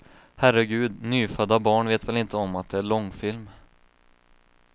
Herregud, nyfödda barn vet väl inte om att det är långfilm.